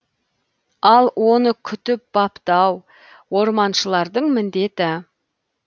ал оны күтіп баптау орманшылардың міндеті